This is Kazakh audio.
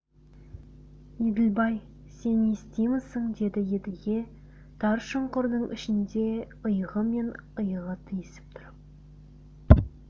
еділбай сен естимісің деді едіге тар шұңқырдың ішінде иығы мен иығы тиісіп тұрып